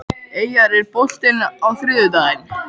Eyjar, er bolti á þriðjudaginn?